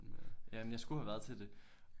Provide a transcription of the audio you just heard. Jamen jeg skulle have været til det